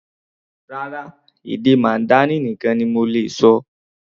Rárá, èdè Mandarin nìkan ni mo lè ṣọ.